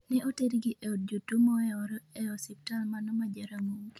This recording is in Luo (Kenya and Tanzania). ne oter gi e od jotuo moewore e osiptal mano ma Jaramogi